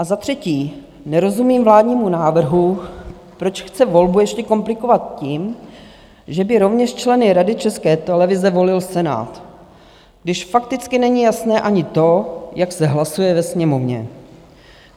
A za třetí nerozumím vládnímu návrhu, proč chce volbu ještě komplikovat tím, že by rovněž členy Rady České televize volil Senát, když fakticky není jasné ani to, jak se hlasuje ve Sněmovně.